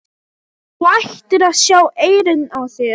Þú ættir að sjá eyrun á þér!